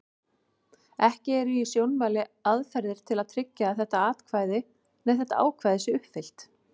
Ekki eru í sjónmáli aðferðir til að tryggja að þetta ákvæði sé uppfyllt.